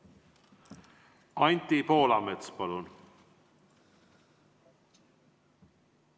Anti Poolamets, palun!